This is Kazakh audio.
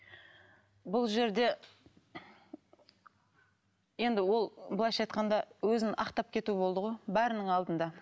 бұл жерде енді ол былайша айтқанда өзін ақтап кету болды ғой бәрінің алдында